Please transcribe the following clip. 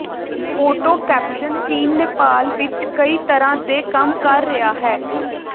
photo caption ਚੀਨ ਨੇਪਾਲ ਵਿੱਚ ਕਈ ਤਰ੍ਹਾਂ ਦੇ ਕੰਮ ਕਰ ਰਿਹਾ ਹੈ